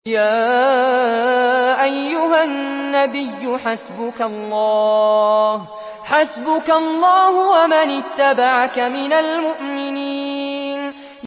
يَا أَيُّهَا النَّبِيُّ حَسْبُكَ اللَّهُ وَمَنِ اتَّبَعَكَ مِنَ الْمُؤْمِنِينَ